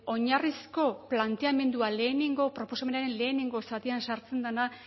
oinarrizko planteamendua lehenengo proposamenaren lehenengo zatian sartzen dena